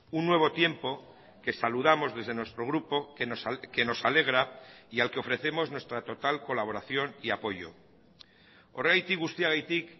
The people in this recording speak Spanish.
un nuevo tiempo que saludamos desde nuestro grupo que nos alegra y al que ofrecemos nuestra total colaboración y apoyo horregatik guztiagatik